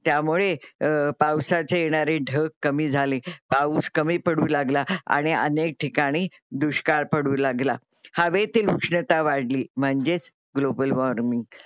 त्यामुळे पावासाचे येणारे ढग कमी झाले, पाऊस कमी पडू लागला आणि अनेक ठिकाणी दुष्काळ पडू लागला. हवेतील उष्णता वाढली म्हणजेच ग्लोबल वार्मिंग global warming